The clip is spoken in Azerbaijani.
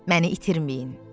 Məni itirməyin.